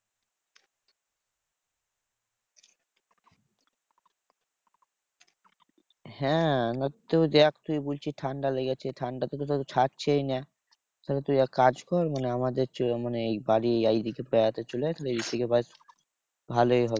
হ্যাঁ না তো দেখ তুই বলছিস ঠান্ডা লেগেছে ঠান্ডা তোর তো ছাড়ছেই না। তাহলে তুই এক কাজ কর মানে আমাদের মানে এই বাড়ি এইদিকে চলে আসলি ভালোই হবে।